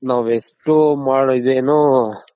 ನಾವ್ ಎಷ್ಟ್ ಈದ್ ಏನು